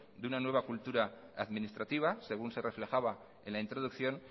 de una nueva cultura administrativa según se reflejaba en la introducción